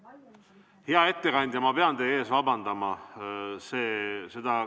Hea ettekandja, ma pean teie ees vabandama.